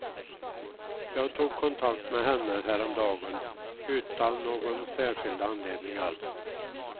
Jag tog kontakt med henne häromdagen, utan någon särskild anledning alls.